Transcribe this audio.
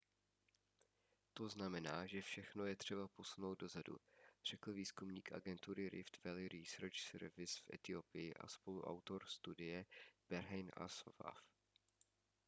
to znamená že všechno je třeba posunout dozadu řekl výzkumník agentury rift valley research service v etiopii a spoluautor studie berhane asfaw